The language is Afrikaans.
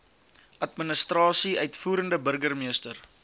administrasie uitvoerende burgermeester